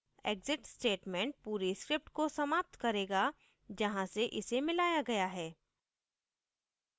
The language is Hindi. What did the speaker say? exit statement पूरी script को समाप्त करेगा जहाँ से इसे मिलाया गया है